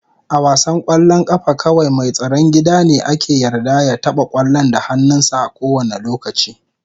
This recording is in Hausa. A wasan kwallon kafa kawai mai tsaron gida ne ake yarda ya taba kwallon da hannunsa a kowane lokaci.